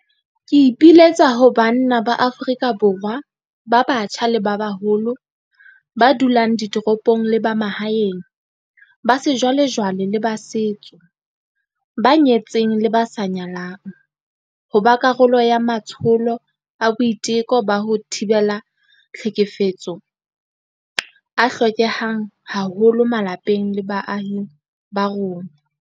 Ke ipiletsa ho banna ba Afrika Borwa ba batjha le ba baholo, ba dulang ditoropong le ba mahaeng, ba sejwalejwale le ba setso, ba nyetseng le ba sa nyalang, ho ba karolo ya matsholo a boiteko ba ho thibela tlhekefetso a hlokehang haholo malapeng le baahing ba rona.